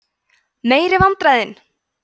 meiri vandræðin!